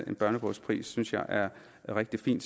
en børnebogspris synes jeg er rigtig fin